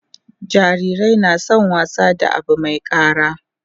jarirai na San wasa da Abu Mai kara